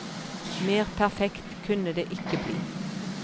Mer perfekt kunne det ikke bli.